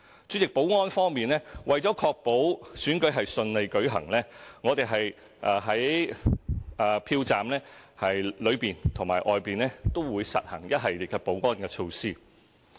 主席，在保安方面，為確保選舉順利舉行，我們在票站內外都會實行一系列保安措施。